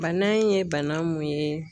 Bana in ye bana mun ye